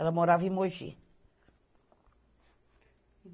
Ela morava em Mogi.